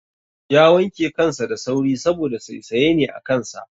Ya wanke kansa da sauri saboda saisaye ne a kansa